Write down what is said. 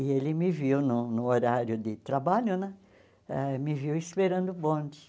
E ele me viu no no horário de trabalho né, eh me viu esperando o bonde.